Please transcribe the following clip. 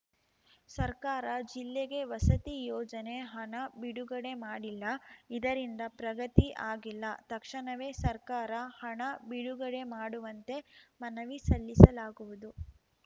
ಸರ್ಕಾರ ಜಿಲ್ಲೆಗೆ ವಸತಿ ಯೋಜನೆ ಹಣ ಬಿಡುಗಡೆ ಮಾಡಿಲ್ಲ ಇದರಿಂದ ಪ್ರಗತಿ ಆಗಿಲ್ಲ ತಕ್ಷಣವೇ ಸರ್ಕಾರ ಹಣ ಬಿಡುಗಡೆ ಮಾಡುವಂತೆ ಮನವಿ ಸಲ್ಲಿಸಲಾಗುವುದು